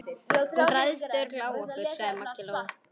Hún ræðst örugglega á okkur, sagði Maggi Lóu.